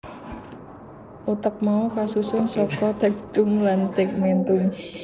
Utek mau kasusun saka tectum lan tegmentum